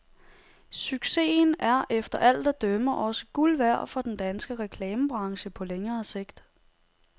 Succesen er efter alt at dømme også guld værd for den danske reklamebranche på længere sigt.